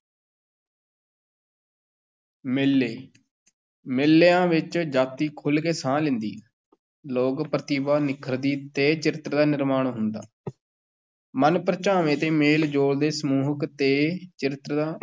ਮੇਲੇ ਮੇਲਿਆਂ ਵਿੱਚ ਜਾਤੀ ਖੁੱਲ੍ਹ ਕੇ ਸਾਹ ਲੈਂਦੀ, ਲੋਕ-ਪ੍ਰਤਿਭਾ ਨਿੱਖਰਦੀ ਤੇ ਚਰਿੱਤਰ ਦਾ ਨਿਰਮਾਣ ਹੁੰਦਾ ਮਨ-ਪਰਚਾਵੇ ਤੇ ਮੇਲ-ਜੋਲ ਦੇ ਸਮੂਹਿਕ ਤੇ ਕਿਰਤ ਦਾ